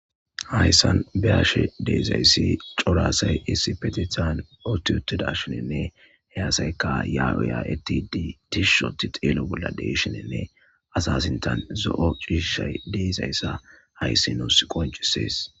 Hayssan be7ashe de7izayssi cora asay issipetethan utti uttudashininne he asaykka yaa7o yaa7ettiiddi tishi ootti xeelo bolla de7ishininne asa sinthan zo7o ciishay de7izayssa hayssi nuusi qonccisees.